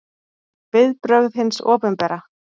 Viðbrögð hins opinbera